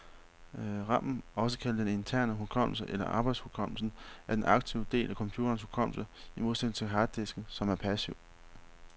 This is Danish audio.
Ramen, også kaldet den interne hukommelse eller arbejdshukommelsen, er den aktive del af computerens hukommelse, i modsætning til harddisken, som er passiv.